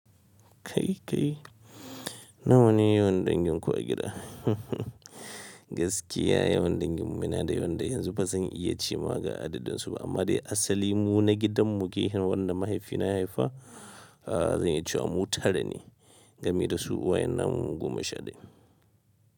Kai kai, nawa ne yawan danginku a gida? Gaskiya yawan danginmu na da yawan da yanzu ba zan iya cewa ga adadinsu ba amma dai asali mu na gidanmu gefe wanda mahaifina ya haifa, zan yi cewa mu tara ne, gami da su uwaye namu goma sha daya.